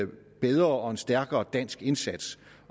bedre og stærkere dansk indsats